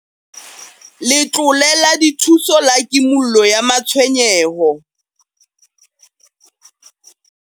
Letlole la Dithuso la Kimollo ya Matshwenyeho.